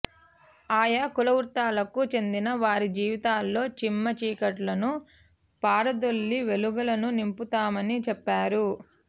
ఆయా కులవృత్తులకు చెందిన వారి జీవితాల్లో చీమ్మ చీకట్లను పారదొలి వెలుగులను నింపుతున్నామని చెప్పారు